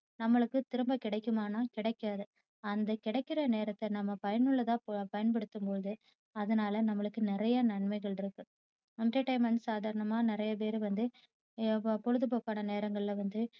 நம்மளுக்கு திரும்ப கிடைக்குமான்னா கிடைக்காது. அந்த கிடைக்குற நேரத்தை நம்ம பயனுள்ளதா பயன்படுத்தும்போது அதனால நம்மளுக்கு நிறைய நன்மைகள் இருக்கு. entertainment சாதாரணமா நிறையபேரு வந்து பொழுதுபோக்கான நேரங்கள்ல வந்து